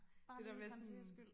Det der med sådan